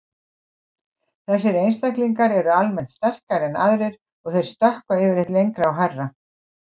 Þessir einstaklingar eru almennt sterkari en aðrir og þeir stökkva yfirleitt lengra og hærra.